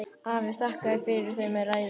Afi þakkaði fyrir þau með ræðu.